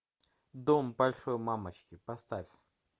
дом большой мамочки поставь